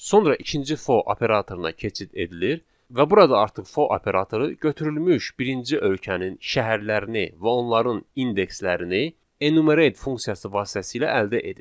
Sonra ikinci for operatoruna keçid edilir və burada artıq for operatoru götürülmüş birinci ölkənin şəhərlərini və onların indekslərini enumerate funksiyası vasitəsilə əldə edir.